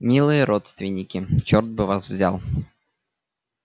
милые родственники черт бы вас взял